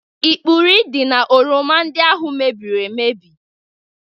Ikpurị dị n'oroma ndị ahụ mebịrị emebi